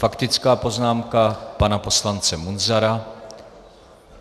Faktická poznámka pana poslance Munzara.